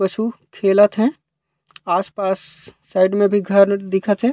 वसु खेलत हे आस-पास साइड में घर दिखत हे।